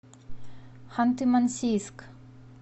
ханты мансийск